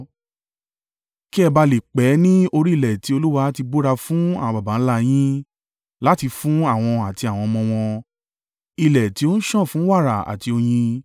Kí ẹ ba à lè pẹ́ ní orí ilẹ̀ tí Olúwa ti búra fún àwọn baba ńlá a yín, láti fún àwọn àti àwọn ọmọ wọn: ilẹ̀ tí ó ń sàn fún wàrà àti oyin.